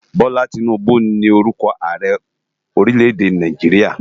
Bola Tinubu ni órùkò àárè órilè-èdé Náijiriá